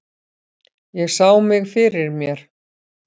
Ég sá mig fyrir mér.